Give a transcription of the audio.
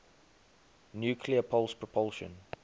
nuclear pulse propulsion